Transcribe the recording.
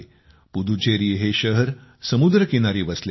पुदुचेरी हे शहर समुद्रकिनारी वसलेले आहे